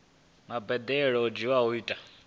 mbadelo dzo dzhielwaho nṱha dza